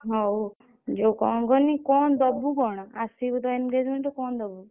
ହଉ ଯଉ କଣ କହନି କଣ ଦବୁ କଣ ଆସିବୁ ତ engagement କୁ କଣ ଦବୁ?